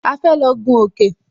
A fẹ́ lọ gún òkè